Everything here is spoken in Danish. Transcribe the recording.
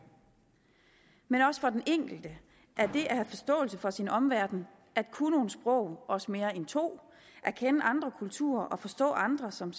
men også for den enkelte er det at have forståelse for sin omverden at kunne nogle sprog også mere end to at kende andre kulturer og forstå andre som